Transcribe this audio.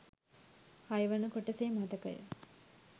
හයවන කොටසේ මතකය